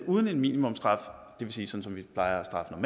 uden en minimumsstraf det vil sige sådan som vi plejer